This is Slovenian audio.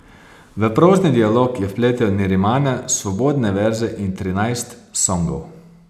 V prozni dialog je vpletel nerimane svobodne verze in trinajst songov.